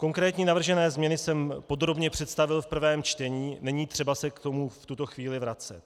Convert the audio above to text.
Konkrétní navržené změny jsem podrobně představil v prvém čtení, není třeba se k tomu v tuto chvíli vracet.